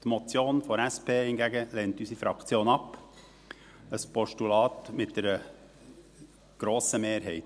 Die Motion der SP lehnt unsere Fraktion hingegen ab, ein Postulat mit einer grossen Mehrheit.